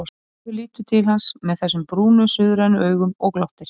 Bárður lítur til hans með þessum brúnu, suðrænu augum og glottir.